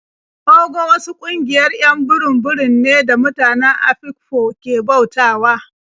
Ogo wasu ƙungiayr 'yan burum-burum ne da mutane Afikpo ke bautawa.